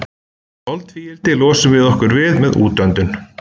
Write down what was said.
Koltvíildi losum við okkur við með útöndun.